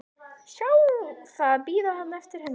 Sjá það bíða þarna eftir henni.